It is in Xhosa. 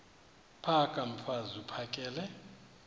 phaka mfaz uphakele